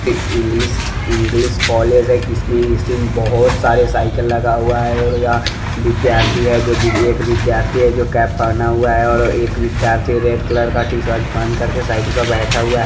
इ English college है की इसमे बहुत सारे साइकिल लगा हुआ है और यह विद्यार्थी है जो एक विद्यार्थी है जो कैप पहना हुआ है और एक विद्यार्थी है रेड कलर का टी-शर्ट पहन कर के साइकिल पे बैठा हुआ है।